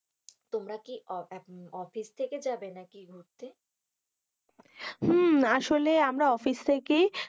তোমরা কি অফিস থেকে যাবে নাকি ঘুরতে, হুম, আসলে আমরা অফিস থেকেই,